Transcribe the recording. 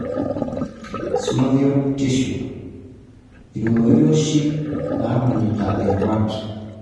Synovial tissue(imorioshi namanita irubat)